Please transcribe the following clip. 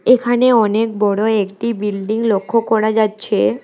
এখানে অনেক বড়ো একটি বিল্ডিং লক্ষ করা যাচ্ছে।